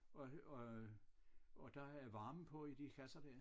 Og øh og der er varme på i de kasser dér